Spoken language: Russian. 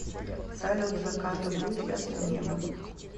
салют заката будет ясное небо